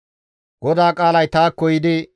GODAA qaalay taakko yiidi,